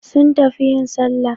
Sun tafi yin Sallah